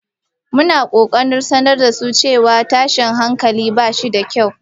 muna kokarin sanar da su cewa tashin hankali ba shi da kyau.